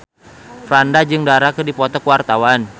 Franda jeung Dara keur dipoto ku wartawan